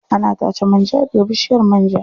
Ana tace man ja daga bishiyar man ja.